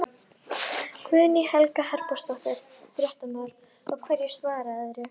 Guðný Helga Herbertsdóttir, fréttamaður: Og hverju svararðu?